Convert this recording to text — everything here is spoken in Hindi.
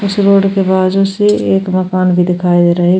उस रोड के बाजुसे एक मकान भी दिखाई दे रहा है।